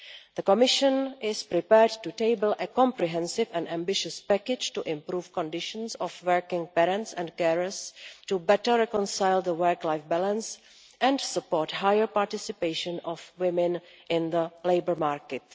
The Commission is prepared to table a comprehensive and ambitious package to improve conditions for working parents and carers, to better reconcile the work life balance and to support the higher participation of women in the labour market.